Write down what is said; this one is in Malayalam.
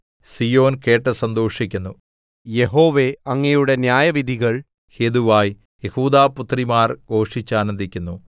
സീയോൻ കേട്ടു സന്തോഷിക്കുന്നു യഹോവേ അങ്ങയുടെ ന്യായവിധികൾ ഹേതുവായി യെഹൂദാപുത്രിമാർ ഘോഷിച്ചാനന്ദിക്കുന്നു